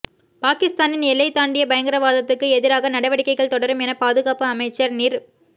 பாகிஸ்தானின் எல்லை தாண்டிய பயங்கரவாதத்துக்கு எதிராக நடவடிக்கைகள் தொடரும் என பாதுகாப்பு அமைச்சர் நிர்